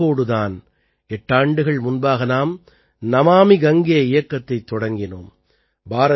இந்த நோக்கத்தோடு தான் எட்டாண்டுகள் முன்பாக நாம் நமாமி கங்கே இயக்கத்தைத் தொடங்கினோம்